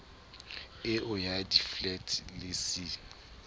eo ya diflete le c